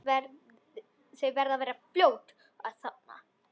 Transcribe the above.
Þau verða fljót að þorna.